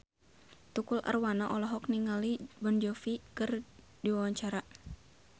Tukul Arwana olohok ningali Jon Bon Jovi keur diwawancara